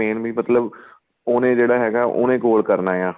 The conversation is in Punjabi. main ਵੀ ਮਤਲਬ ਉਹਨੇ ਜਿਹੜਾ ਹੈਗਾ ਉਹਨੇ goal ਕਰਨਾ ਆ